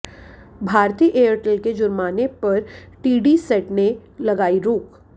Bharti Airtel के जुर्माने पर टीडीसैट ने लगाई रोक